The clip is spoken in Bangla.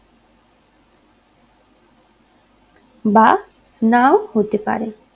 বা নাও হতে পারে